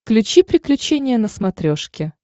включи приключения на смотрешке